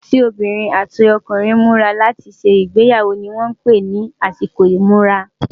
àsìkò tí obìnrin àti ọkùnrin múra láti ṣé igbeyawo ní wón pé nì àsìkò imura